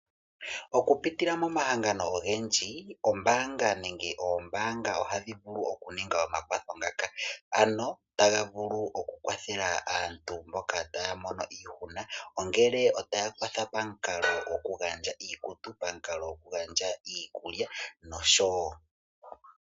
Okupitila momahangano ogendji, mombaanga nenge moombaanga ohaku vulu okuningwa omakwatho ngaka, ano taga vulu okukwathela aantu mboka taya mono iihuna ongele otadhi kwatha pamukalo gokugandja iikutu nenge pamukalo gokugandja iikulya nosho tuu.